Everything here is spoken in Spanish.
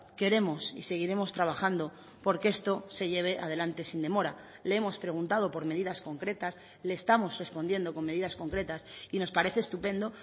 queremos y seguiremos trabajando porque esto se lleve adelante sin demora le hemos preguntado por medidas concretas le estamos respondiendo con medidas concretas y nos parece estupendo